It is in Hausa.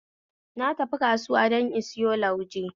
Na tafi kasuwa don in sayo lauje